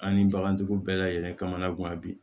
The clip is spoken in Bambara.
An ni bagantigiw bɛɛ lajɛlen kamana gan bi